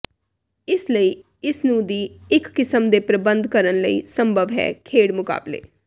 ਇਸ ਲਈ ਇਸ ਨੂੰ ਦੀ ਇੱਕ ਕਿਸਮ ਦੇ ਪ੍ਰਬੰਧ ਕਰਨ ਲਈ ਸੰਭਵ ਹੈ ਖੇਡ ਮੁਕਾਬਲੇ